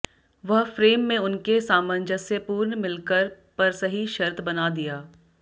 वह फ्रेम में उनके सामंजस्यपूर्ण मिलकर पर सही शर्त बना दिया